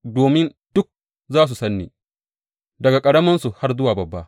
domin duk za su san ni, daga ƙaraminsu har zuwa babba,